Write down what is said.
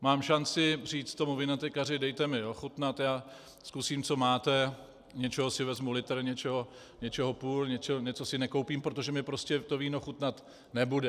Mám šanci říct tomu vinotékaři, dejte mi ochutnat, já zkusím, co máte, něčeho si vezmu litr, něčeho půl, něco si nekoupím, protože mi prostě to víno chutnat nebude.